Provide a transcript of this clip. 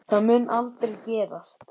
Það mun aldrei gerast.